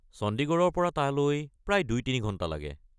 চণ্ডীগড়ৰ পৰা তালৈ প্ৰায় ২-৩ ঘণ্টা লাগে।